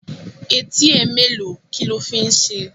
Etí ẹ mẹ́ẹ́lo? Kílo fi ń ṣe?